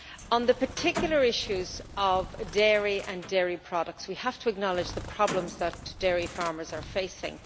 On the particular issues of dairy and dairy products, we have to acknowledge the problems that dairy farmers are facing.